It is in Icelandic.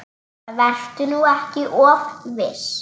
Vertu nú ekki of viss.